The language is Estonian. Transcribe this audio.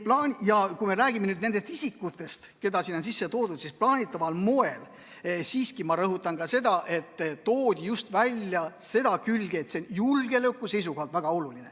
Kui me räägime nüüd nendest isikutest, keda sinna on sisse toodud, siis ma rõhutan, et toodi just välja seda külge, et see on julgeoleku seisukohalt väga oluline.